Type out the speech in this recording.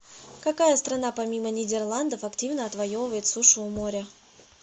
какая страна помимо нидерландов активно отвоевывает сушу у моря